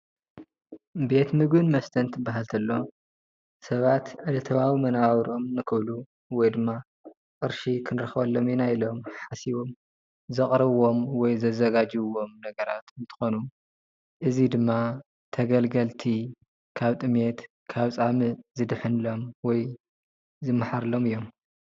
ቤት ምግብን መስተን ትባህል ተሎ ሰባት ዕለታዊ መነባብሮኦም ንክብሉ ወይ ድማ ቅርሺ ክንረክበሎም ኢና ኢሎም ሓሲቦም ዘቅረብዎም ወይ ዘዘጋጀውወም ነገራት እንትኮኑ እዚ ድማ ተገልገልቲ ካብ ጥምየት ካብ ፃምእ ዝድሕንሎም ወይ ዝማሓርሎም እዮም፡፡